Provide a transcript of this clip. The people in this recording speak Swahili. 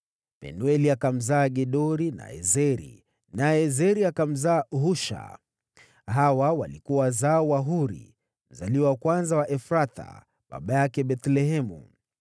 Penueli akamzaa Gedori, naye Ezeri akamzaa Husha. Hawa walikuwa wazao wa Huri, mzaliwa wa kwanza wa Efrathi, na baba yake Bethlehemu.